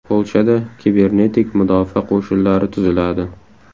Polshada kibernetik mudofaa qo‘shinlari tuziladi.